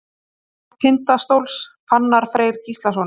Mark Tindastóls: Fannar Freyr Gíslason.